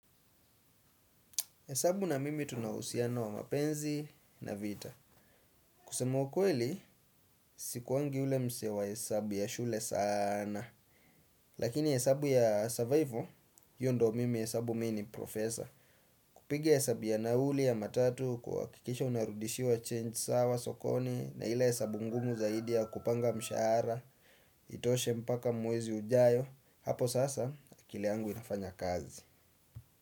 Hesabu na mimi tuna uhusiano wa mapenzi na vita. Kusemwa ukweli, sikuwangi ule msee wa hesabu ya shule sana. Lakini hesabu ya survival, hiyo ndio mimi hesabu mimi ni professor. Kupiga yesabu ya nauli ya matatu, kuhakikisha unarudishiwa change sawa sokoni, na ile hesabu ngumu zaidi ya kupanga mshahara, itoshe mpaka mwezi ujayo, hapo sasa, akili yangu inafanya kazi.